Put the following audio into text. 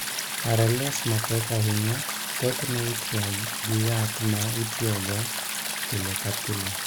RLS mapek ahinya, thothne itiyo gi yath ma itiyogo pile ka pile.